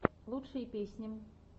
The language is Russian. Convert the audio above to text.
лучшие песни